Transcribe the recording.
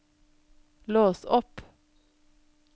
lås opp